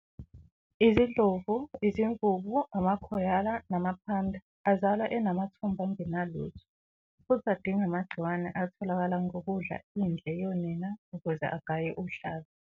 Izindlovu, izimvubu, ama-koala nama-panda azalwa enamathumbu angenalutho, futhi adinga amagciwane atholakala ngokudla indle yonina ukuze agaye uhlaza.